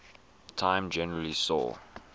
time generally saw